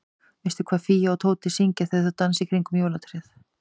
Veistu hvað Fía og Tóti syngja þegar þau dansa í kringum jólatréð?